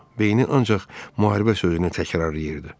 Beyni ancaq müharibə sözünü təkrarlayırdı.